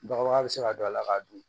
Bagabaga bɛ se ka don a la k'a dun